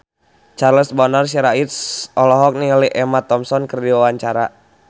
Charles Bonar Sirait olohok ningali Emma Thompson keur diwawancara